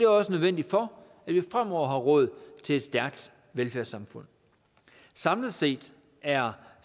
også nødvendigt for at vi fremover har råd til et stærkt velfærdssamfund samlet set er